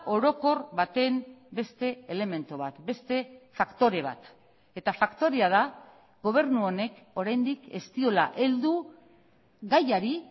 orokor baten beste elementu bat beste faktore bat eta faktorea da gobernu honek oraindik ez diola heldu gaiari